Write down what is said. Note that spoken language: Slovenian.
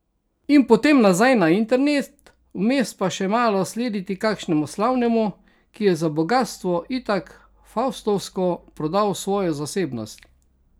In potem nazaj na internet, vmes pa še malo slediti kakšnemu slavnemu, ki je za bogastvo itak faustovsko prodal svojo zasebnost.